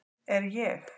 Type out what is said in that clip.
Er ég